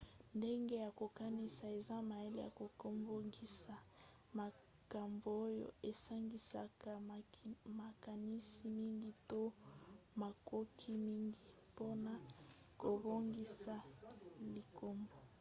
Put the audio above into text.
ndenge ya kokanisa eza mayele ya kobongisa makambo oyo esangisaka makanisi mingi to makoki mingi mpona kobongisa likambo